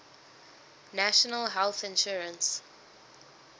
national health insurance